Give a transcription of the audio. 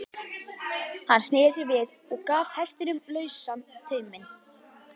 Hann sneri sér við og gaf hestinum lausan tauminn.